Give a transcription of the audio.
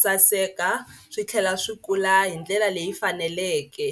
saseka swi tlhela swi kula hi ndlela leyi faneleke.